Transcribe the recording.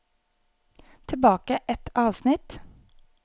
Tilbake ett avsnitt